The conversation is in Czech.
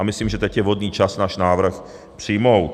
A myslím, že teď je vhodný čas náš návrh přijmout.